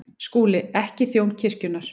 SKÚLI: Ekki þjón kirkjunnar.